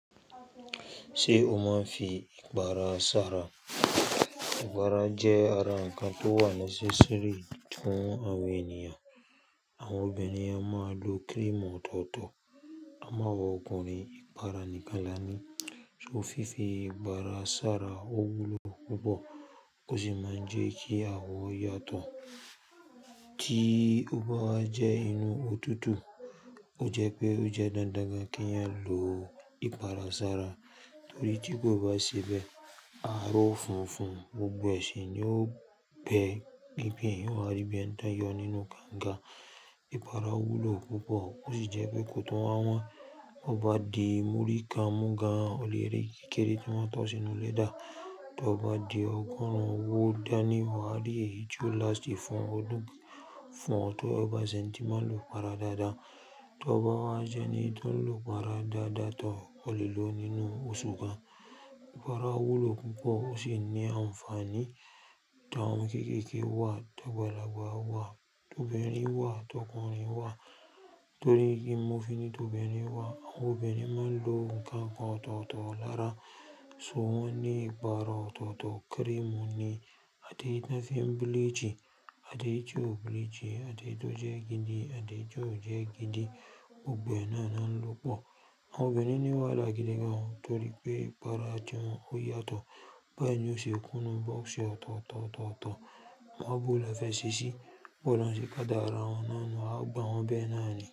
Ṣé o máa ń fi ìpara sára? Ìpara jẹ́ ara ǹkan tó wà necessary fún àwọn ènìyàn. Àwọn obìnrin a máa lo cream ọ̀tọ̀ọ̀tọ̀, àmo awa ọkùnrin ìpara nìkan lani. Fi fi ìpara sára, ó wúlò púpọ̀ ó sì máa ń jẹ́ kí àwọ yàtọ̀. Tí o bá wa jẹ́ inú òtútù, o jẹ́ pé o jẹ́ dándán gan kí ẹyan lọ ìpara sára torí tí kò bá ṣe bẹ́ẹ̀, ára o funfun gbogbo e sì ní ó gbẹ́, eeyan o wà á rí bí ẹ̀ni tan yọ nínú kanga. Ìpara wúlò púpọ̀ ó sì jẹ́ pé kò tun wá wọ́n. Bo bá di múrí kán mú gan an, o le rí kékeré tí wọ́n tọ́ sínú lẹ́dà. Tọ bá di ọgọ́rùn-ún ówo dání wà á rí èyí tí o lást fun ọdún fún ọ tó bá ṣe eǹi tí máa lò ìpara dáadáa. Tọ bá wá jẹ́ní tọ ń lò ìpara dáadáa, tọ ò lè lo nínú oṣù gan an. Ìpara wúlò púpọ̀ ó sì ní ànfàní. Tawoń omo kéékèèké wá, tagbálagbà wá, tobinrin wá, tọkùnrin wá. Torí kí n mo fínní tobinrín wá, àwọn obìnrin máa ń lo ǹkankan ọ̀tọ̀ọ̀tọ̀ lára, so, won ni ìpara ọ̀tọ̀ọ̀tọ̀ cream ni. Ati eyi tań fí bleach, atéyi tio bleach, ateyi to jẹ́ gidi, atéyi ti o jẹ́ gidi, gbogbo ẹ̀ náà náà ń lò pọ̀. Àwọn obìnrin ni wàhala gídí gan ọ torí pé ìpara tí wọn ó yàtọ̀. Báyìí nio ṣe kùnú box ọ̀tọ̀ọ̀tọ̀ ọ̀tọ̀ọ̀tọ̀, máa bu ọ́ lọ́fẹ́ ṣíṣí, bọ́lọ̀uń se kadàra wọn náà nu á gbá wọn bẹ́ náà ni.